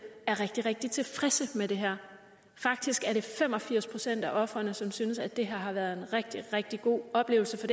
er rigtig rigtig tilfredse med det her faktisk er det fem og firs procent af ofrene som synes at det her har været en rigtig rigtig god oplevelse for